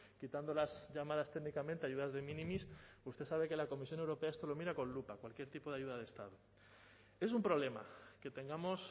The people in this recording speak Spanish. quitando las llamadas técnicamente ayudas de minimis usted sabe que la comisión europea esto lo mira con lupa cualquier tipo de ayuda de estado es un problema que tengamos